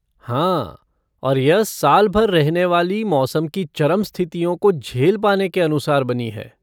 हाँ, और यह साल भर रहने वाली मौसम की चरम स्थितियों को झेल पाने के अनुसार बनी है।